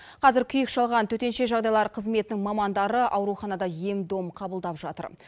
қазір күйік шалған төтенше жағдайлар қызметінің мамандары ауруханада ем дом қабылдап жатыр